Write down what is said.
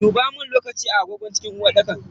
Dubamun lokaci a agogon cikin uwarɗaka.